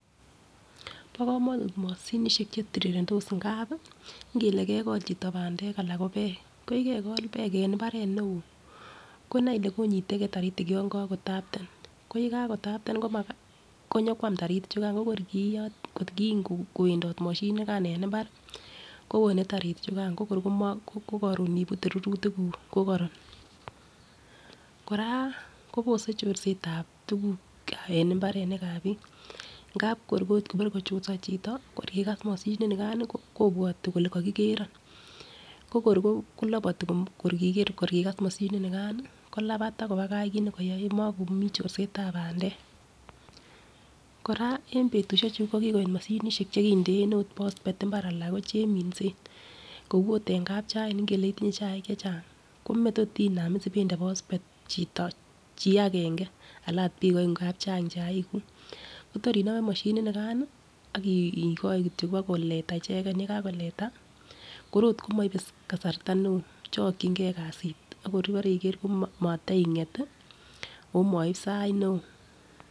Bo komonut moshinishek chetirirendos ngap ngele mekol chito pandek ana ko peek ko yekekol peek en imbaret neo konai Ile konyitegee taritik yon kakotapten koyekakitapten konyokwam taritik chukan ko kor koyotyi kot kiikwendot moshinit nikan en imbar kowone taritik chukan kokor komo ko korun ibute rurutik kuku ko koron. Koraaa kobose chorsetab tukuk en imbarenikab bik ngap kor ot bore kochorso chito kor kokas moshinit nikan nii kobwote kole kokikeron ko kor kilopoti kor kokas moshinit nikan. Kolapat ak kobakach kit nekiyoe mokomii chotsetab pandek. Koraa en betushek chuu ko kikoit moshinishek chekinden ot prospet imbar ana ko cheminsen kou ot en kspchain ingele ot itinye chaik chechang komatot inam ipende pospet chito chii agenge Alan ot bik oeng ngap Chang chaik kuk, Kotor inome moshinit nikan nii akii skikoi kityok pakoleta icheken, yekakoleta kor ot komoibe kasarta neo chokingee kasit ako ibore ikere komatinget tii omosib sait neo.